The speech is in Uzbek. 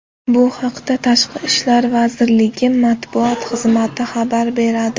Bu haqda Tashqi ishlar vazirligi matbuot xizmati xabar beradi .